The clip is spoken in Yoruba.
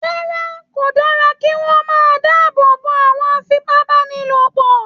Rárá, kò dára kí wọ́n máa dáàbò bo àwọn afipábánilòpọ̀